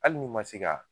Hali n'i ma se ka